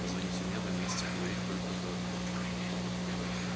позвоните мне два месяца говорить только с дадли